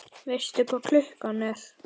Veistu hvað klukkan er?